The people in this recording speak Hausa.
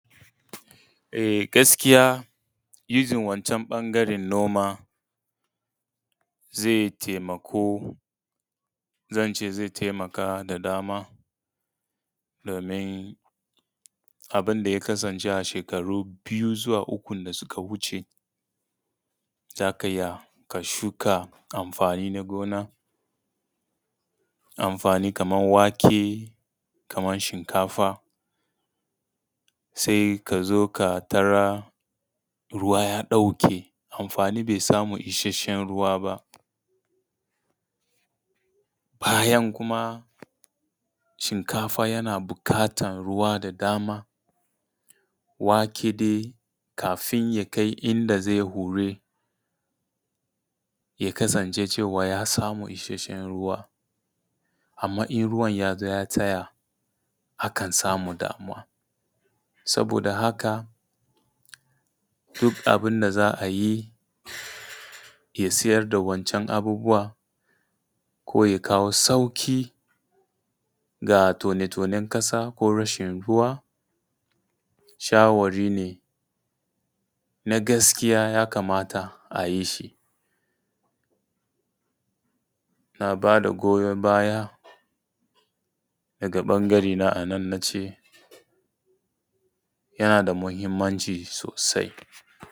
E gaskiya using wancan ɓangaren noma zai taimako zance zai taimaka da dama domin abin da ya kasance a shekaru biyu zuwa ukun da suka wuce, zaka iya ka shuka amfani na gona, amfani kaman wake, kaman shinkafa, sai ka zo ka tarar ruwa ya ɗauke amfani bai samu ishashshen ruwa ba, bayan kuma shinkafa yana buƙatan ruwa da dama, wake dai kafin ya kai inda zai hure ya kasance cewa ya samu ishashshen ruwa. Amman in ruwan ya zo ya tsaya akan samu damuwa. Saboda haka duk abun da za a yi ya tsayar da wancan abubuwa ko ya kawo sauƙi ga tone tonen ƙasa ko rashin ruwa, shawarine na gaskiya ya kamata ayi shi. Na ba da goyan baya daga ɓangare na a nan na ce yana da muhimmanci sosai.